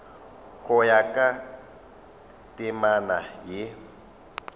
go ya ka temana ye